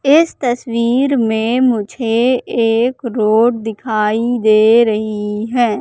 इस तस्वीर में मुझे एक रोड दिखाई दे रही है।